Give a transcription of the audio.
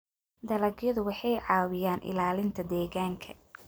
Dalagyadu waxay caawiyaan ilaalinta deegaanka.